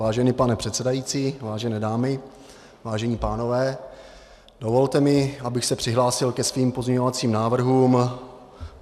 Vážený pane předsedající, vážené dámy, vážení pánové, dovolte mi, abych se přihlásil ke svým pozměňovacím návrhům.